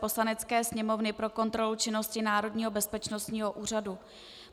Poslanecké sněmovny pro kontrolu činnosti Národního bezpečnostního úřadu